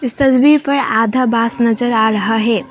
इस तस्वीर पर आधा बांस नजर आ रहा है।